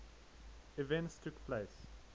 events took place